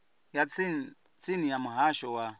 ya tsini ya muhasho wa